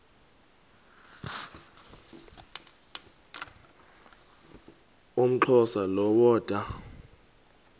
umxhosa lo woda